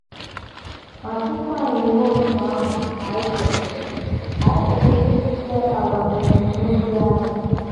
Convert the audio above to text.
Ma tupu anyị emee otú ahụ, anyị kwesịrị, anyị kwesịrị ịtụle àgwà na ebumnobi anyị.